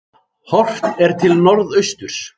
Horft er til norðausturs.